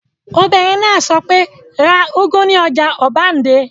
Obìnrin náà sọ pé, 'ra úgú ní ọjà ọbándẹ́!